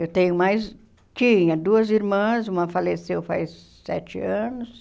Eu tenho mais tinha duas irmãs, uma faleceu faz sete anos,